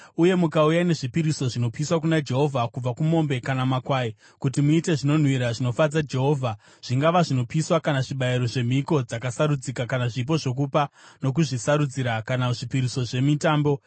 uye mukauya nezvipiriso zvinopiswa kuna Jehovha, kubva kumombe kana makwai, kuti muite zvinonhuhwira zvinofadza Jehovha, zvingava zvinopiswa kana zvibayiro, zvemhiko dzakasarudzika kana zvipo zvokupa nokuzvisarudzira kana zvipiriso zvemitambo,